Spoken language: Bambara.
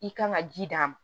I kan ka ji d'a ma